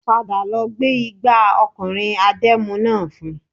Padà lọ gbé igbà ọkùnrin adẹ́mu náà fún